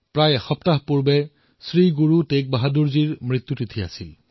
প্ৰায় এসপ্তাহ পূৰ্বে শ্ৰী গুৰু টেগ বাহাদুৰ জীৰো দেহত্যাগৰ তিথি আছিল